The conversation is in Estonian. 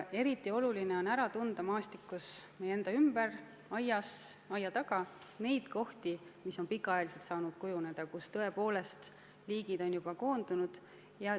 Eriti oluline on ära tunda maastikus meie ümber, meie oma aias ja aia taga kohti, mis on pika aja jooksul saanud kujuneda ja kuhu tõepoolest liigid on juba koondunud.